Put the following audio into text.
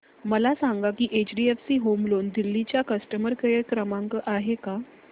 मला सांगा की एचडीएफसी होम लोन दिल्ली चा कस्टमर केयर क्रमांक आहे का